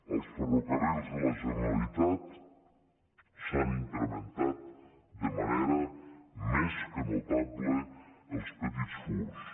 als ferrocarrils de la generalitat s’han incrementat de manera més que notable els petits furts